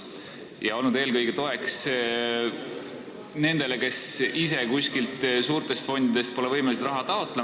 Ta on olnud eelkõige toeks nendele, kes pole võimelised ise kuskilt suurtest fondidest raha taotlema.